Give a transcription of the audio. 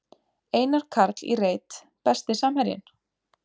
Einar Karl í reit Besti samherjinn?